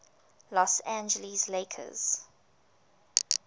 los angeles lakers